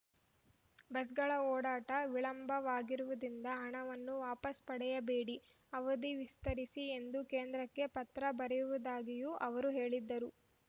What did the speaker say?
ಬಸ್‌ಗಳ ಓಡಾಟ ವಿಳಂಬವಾಗಿರುವುದರಿಂದ ಹಣವನ್ನು ವಾಪಸ್ ಪಡೆಯಬೇಡಿ ಅವಧಿ ವಿಸ್ತರಿಸಿ ಎಂದು ಕೇಂದ್ರಕ್ಕೆ ಪತ್ರ ಬರೆಯು ವುದಾಗಿಯೂ ಅವರು ಹೇಳಿದರು